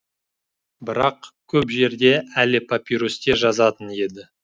бірақ көп жерде әлі папирусте жазатын еді